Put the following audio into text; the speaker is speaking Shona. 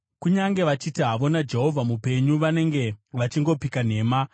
Kunyange vachiti havo, ‘NaJehovha mupenyu,’ vanenge vachingopika nhema.”